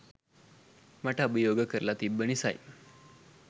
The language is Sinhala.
මට අභියෝග කරල තිබ්බ නිසයි